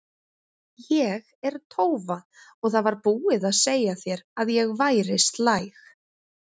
Ég er tófa og það var búið að segja þér að ég væri slæg.